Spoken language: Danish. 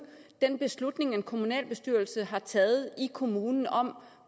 den beslutning en kommunalbestyrelse har taget i kommunen om